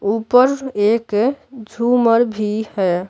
ऊपर एक झूमर भी है।